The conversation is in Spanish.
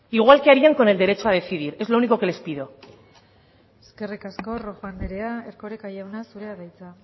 igual que harían con el derecho a decidir es lo único que les pido eskerrik asko rojo andrea erkoreka jauna zurea da hitza